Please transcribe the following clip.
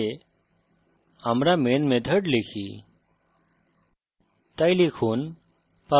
class ভিতরে আমরা main method লিখি